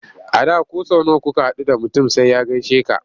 A da ko sau nawa kuka haɗu da mutum sai ya gaishe ka.